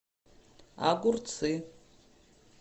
огурцы